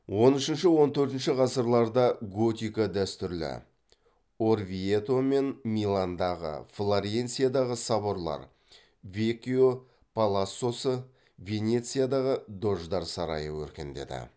он үшінші он төртінші ғасырларда готика дәстүрлі өркендеді